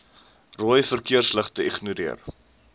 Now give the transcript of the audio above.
rooi verkeersligte ignoreer